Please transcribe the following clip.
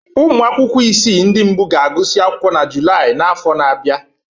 Ụmụ akwụkwọ isii ndị mbụ ga-agụsị akwụkwọ na Julaị afọ na-abịa